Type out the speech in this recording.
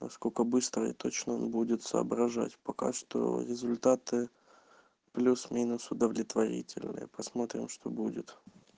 насколько быстро и точно он будет соображать пока что результаты плюс-минус удовлетворительные посмотрим что будет